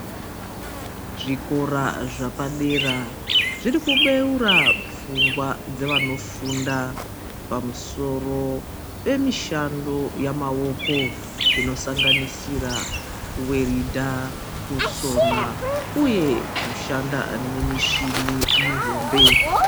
Zvikora zvapadera zviri kubeura pfungwa dzevanofunda pamusoro pemishando yamaoko inosanganisira werudha nekusona uye kushanda nemushini mihombe.